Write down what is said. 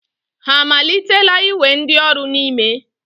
Ha amalitela iwe ndioru n'ime?